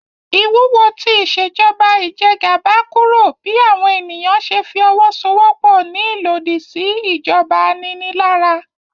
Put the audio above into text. Ìwúwo ti Ìṣèjọba ijẹgàba kúrò bí àwọn ènìyàn ṣe fi owó so'wọ́pọ̀ ní ìlòdì sí ìjọba aninilára